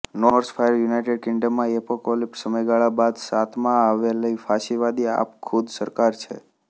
Norsefire United કિંગડમમાં apocalyptic સમયગાળા બાદ સત્તામાં આવેલી ફાશીવાદી આપખુદ સરકાર છે